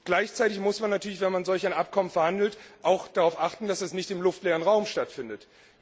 Gleichzeitig muss man natürlich, wenn man solch ein Abkommen verhandelt, auch darauf achten, dass es nicht im luftleeren Raum stattfindet.